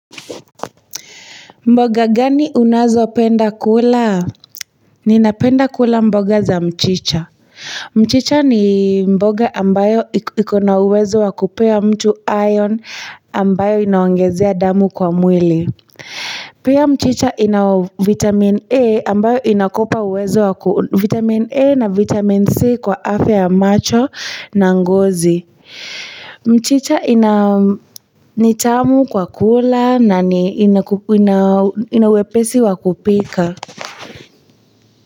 Mboga gani unazo penda kula? Ninapenda kula mboga za mchicha. Mchicha ni mboga ambayo ikona uwezo wa kupea mtu iron ambayo inaongezea damu kwa mwili. Pia mchicha ina vitamin. A ambayo inakupa uwezo wa vitamin A na vitamin C kwa afya ya macho na ngozi. Mchicha ni tamu kwa kula na inawepesi wakupika.